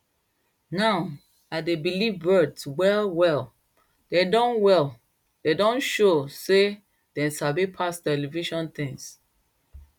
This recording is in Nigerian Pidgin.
now i dey believe birds well well dem don well dem don show sey dem sabi pass television things